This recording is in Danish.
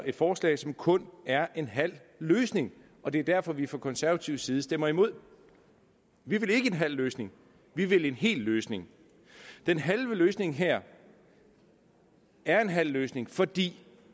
et forslag som kun er en halv løsning og det er derfor at vi fra konservativ side stemmer imod vi vil ikke en halv løsning vi vil en hel løsning løsningen her er en halv løsning fordi